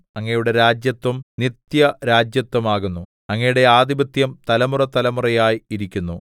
അങ്ങയുടെ രാജത്വം നിത്യരാജത്വം ആകുന്നു അങ്ങയുടെ ആധിപത്യം തലമുറതലമുറയായി ഇരിക്കുന്നു